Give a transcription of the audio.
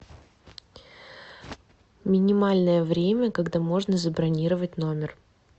минимальное время когда можно забронировать номер